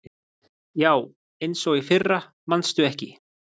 Já, eins og í fyrra manstu ekki?